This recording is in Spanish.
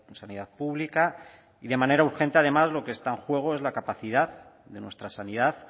sanidad pública y de manera urgente además lo que está juego es la capacidad de nuestra sanidad